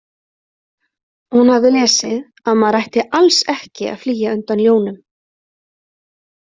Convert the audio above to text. Hún hafði lesið að maður ætti alls ekki að flýja undan ljónum.